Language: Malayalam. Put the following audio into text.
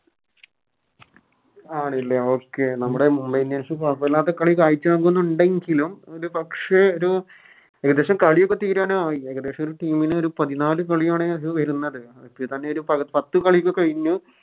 ആണ് ലെ Okay നമ്മുടെ Mumbai indians കൊയപ്പില്ലാത്ത കളി കായ്ച്ചവെക്കുന്നുണ്ടെങ്കിലും ഒരു പക്ഷെ ഒരു ഏകദേശം കളിയൊക്കെ തീരാനായി ഏകദേശം ഒരു Team ന് ഒരു പതിനാല് കളിയാണ് വരുന്നത് ഇപ്പൊത്തന്നെ ഒരു പത്ത് കളിയൊക്കെ കയിഞ്ഞു